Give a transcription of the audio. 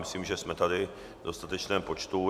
Myslím, že jsme tady v dostatečném počtu.